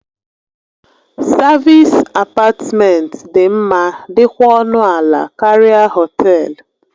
Savịs apatmentị dị mma dikwa ọnụ ala karịa họtelu.